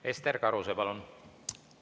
Ester Karuse, palun!